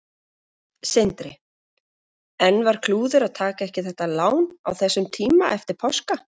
Sindri: En var klúður að taka ekki þetta lán á þessum tíma eftir páska?